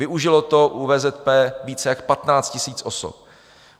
Využilo to u VZP více jak 15 000 osob.